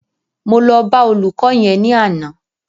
Mo lọ bá olùkọ́ yẹn ní àná